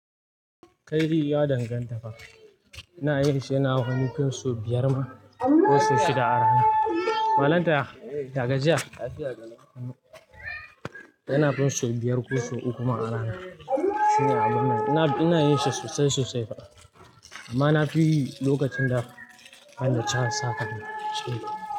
Kai ya danganta. Ina yin shi, yana hutu so biyar ma ko so shida a rana. Malanta, ya jiya? Yana fin so biyar ko so uku ma a rana. Irin abun nan. Ina, ina yin shi sosai, sosai fa, amma na fi yi lokacin da banda can ya saka ni shuka.